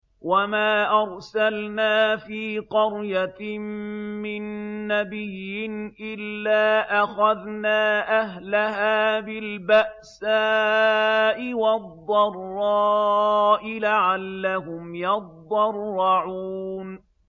وَمَا أَرْسَلْنَا فِي قَرْيَةٍ مِّن نَّبِيٍّ إِلَّا أَخَذْنَا أَهْلَهَا بِالْبَأْسَاءِ وَالضَّرَّاءِ لَعَلَّهُمْ يَضَّرَّعُونَ